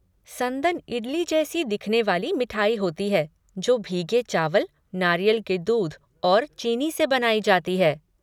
संदन इडली जैसी दिखने वाली मिठाई होती है जो भीगे चावल, नारियल के दूध और चीनी से बनाई जाती है।